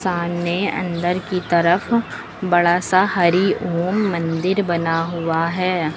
आने अंदर की तरफ बड़ा सा हरि ओम मंदिर बना हुआ है।